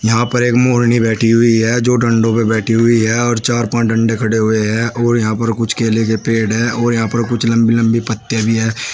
यहां पर एक मोरनी बैठी हुई है जो डंडों पे बैठी हुई है और चार पांच डंडे खड़े हुए हैं और यहां पर कुछ केले के पेड़ हैं और यहां पर कुछ लंबे-लंबे पत्ते भी हैं।